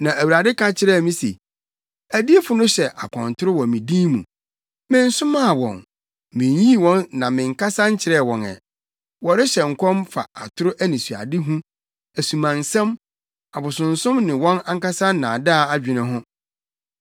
Na Awurade ka kyerɛɛ me se, “Adiyifo no hyɛ akɔntoro wɔ me din mu. Mensomaa wɔn, minnyii wɔn na menkasa nkyerɛɛ wɔn ɛ. Wɔrehyɛ nkɔm fa atoro anisoadehu, asumansɛm, abosonsom ne wɔn ankasa nnaadaa adwene ho.